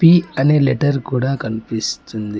D అనే letter కూడా కనిపిస్తుంది.